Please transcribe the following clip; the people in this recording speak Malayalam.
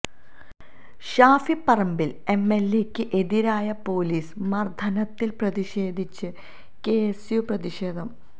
ഷാഫി പറമ്പില് എംഎല്എയ്ക്ക് എതിരായ പൊലീസ് മര്ദ്ദനത്തില് പ്രതിഷേധിച്ച് കെഎസ്യു പ്രതിഷേധം